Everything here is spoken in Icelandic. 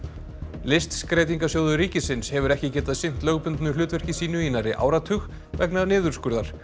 listskreytingasjóður ríkisins hefur ekki getað sinnt lögbundnu hlutverki sínu í nærri áratug vegna niðurskurðar